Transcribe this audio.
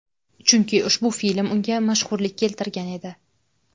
Chunki ushbu film unga mashhurlik keltirgan edi.